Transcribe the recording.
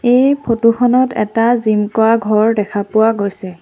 এই ফটো খনত এটা জিম কৰা ঘৰ দেখা পোৱা গৈছে।